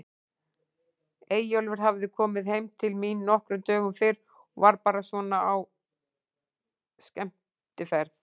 Eyjólfur hafði komið heim til mín nokkrum dögum fyrr og var bara svona á skemmtiferð.